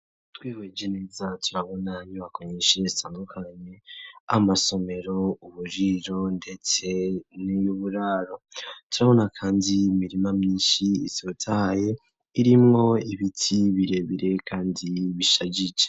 Twihweje neza inyubako nyinshi zitandukanye amasomero uburiro ndetse niy'uburaro turabona kandi imirima myinshi itotahaye irimwo ibiti birebire kandi bishajije.